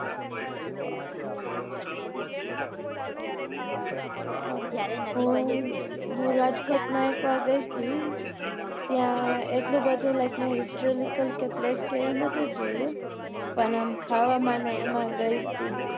હું હું રાજકોટ માં કે વાર ગઈ હતી ત્યાં એટલું બધું like મેં histrolical કે place કે એવું નતું જોયું પણ આમ ખાવા ને એમાં ગઈ હતી